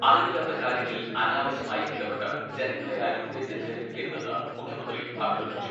അറിവില്ലാത്ത കാര്യങ്ങളിൽ അനാവശ്യമായി ഇടപെട്ട് ജനങ്ങളെ ആരും തെറ്റിദ്ധരിപ്പിക്കരുതെന്ന് മുഖ്യമന്ത്രി അഭ്യർത്ഥിച്ചു.